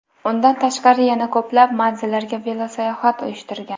Undan tashqari yana ko‘plab manzillarga velosayohat uyushtirgan.